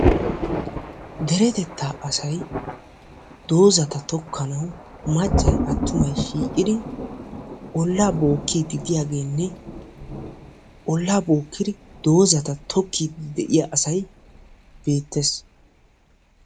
Deretettaa asayi doozata tokkanawu maccayi attumayi shiiqidi ollaa bookkiiddi diyageenne ollaa bookkidi doozata tokkiiddi de'iya asayi beettes.